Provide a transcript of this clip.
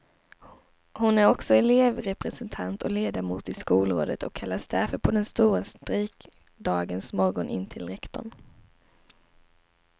Hon är också elevrepresentant och ledamot i skolrådet och kallades därför på den stora strejkdagens morgon in till rektorn.